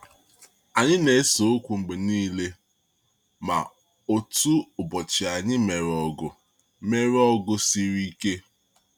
Anyị na-ese okwu mgbe niile, ma otu ụbọchị anyị mere ọgụ mere ọgụ siri ike.